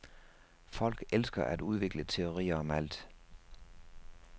Folk elsker at udvikle teorier om alt.